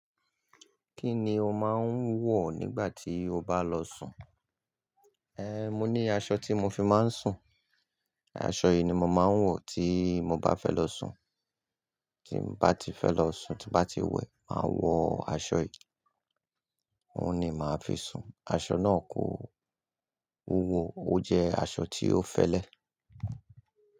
Kí ni o máa ń wọ̀ nígbà tí o bá lọ sùn? Ehn, mo ní aṣọ tí mo fi máa ń sùn. Aṣọ yìí ni mo máa ń wọ̀ tí mo bá fẹ́ lọ sùn. Tí n bá ti fẹ́ lọ sùn, tí n bá ti wẹ, màá wọ aṣọ yìí. Òun ni màá fi sùn. Aṣọ náà kò wúwo, ó jẹ́ aṣọ tí ó fẹ́lẹ́.